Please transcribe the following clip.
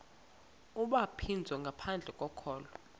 ubhaptizo ngaphandle kokholo